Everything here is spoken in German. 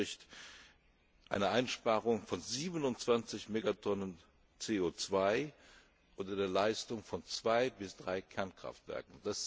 Das entspricht einer Einsparung von 27 Megatonnen CO 2 oder der Leistung von zwei bis drei Kernkraftwerken.